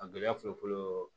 A gɛlɛya fɔlɔ fɔlɔ